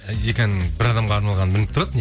екі ән бір адамға арналғаны білініп тұрады